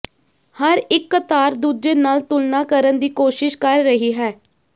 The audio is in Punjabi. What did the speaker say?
ਹਰ ਇੱਕ ਕਤਾਰ ਦੂਜੇ ਨਾਲ਼ ਤੁਲਨਾ ਕਰਨ ਦੀ ਕੋਸ਼ਿਸ਼ ਕਰ ਰਹੀ ਹੈ